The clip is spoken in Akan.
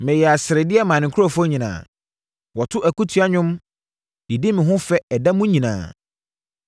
Meyɛɛ asredeɛ maa me nkurɔfoɔ nyinaa; wɔto akutia nnwom de di me ho fɛ ɛda mu nyinaa.